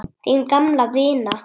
Þín gamla vina